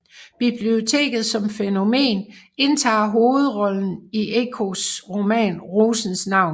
Biblioteket som fænomen indtager hovedrollen i Ecos roman Rosens navn